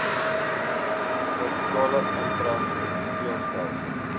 servikale intra epiteelletsel